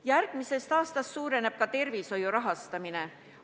Järgmisest aastast suureneb ka tervishoiu rahastamine.